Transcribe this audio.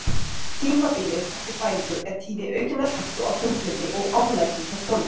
tímabilið eftir fæðingu er tími aukinnar hættu á þunglyndi og oflæti hjá konum